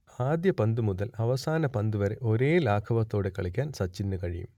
ആദ്യ പന്തുമുതൽ അവസാന പന്തുവരെ ഒരേ ലാഘവത്തോടെ കളിക്കാൻ സച്ചിനു കഴിയും